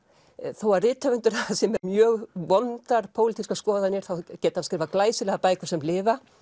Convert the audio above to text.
þó rithöfundur sé með mjög vondar pólitískar skoðanir þá geti hann skrifað glæsilegar bækur sem lifa